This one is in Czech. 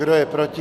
Kdo je proti?